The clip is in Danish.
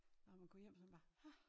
Når man kom hjem så man bare ah